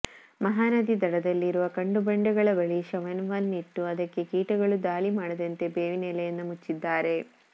ಮಹಾನದಿ ದಡದಲ್ಲಿರುವ ಕಲ್ಲು ಬಂಡೆಗಳ ಬಳಿ ಶವವನ್ನಿಟ್ಟು ಅದಕ್ಕೆ ಕೀಟಗಳು ದಾಳಿ ಮಾಡದಂತೆ ಬೇವಿನ ಎಲೆಯಿಂದ ಮುಚ್ಚಿದ್ದಾರೆ